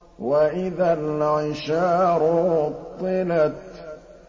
وَإِذَا الْعِشَارُ عُطِّلَتْ